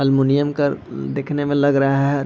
Aluminium का मम दिखने में लग रहा है।